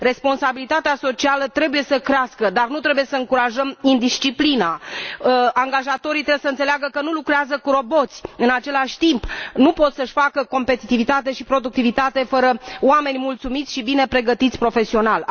Responsabilitatea socială trebuie să crească, dar nu trebuie să încurajăm indisciplina. Angajatorii trebuie să înțeleagă că nu lucrează cu roboți, în același timp, nu pot să și asigure competitivitate și productivitate fără oameni mulțumiți și bine pregătiți profesional.